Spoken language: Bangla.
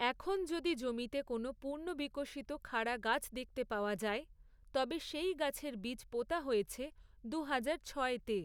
এখন যদি জমিতে কোনও পূর্ণ বিকশিত খাড়া গাছ দেখতে পাওয়া যায়, তবে সেই গাছের বীজ পোঁতা হয়েছে দুহাজার ছয়তে!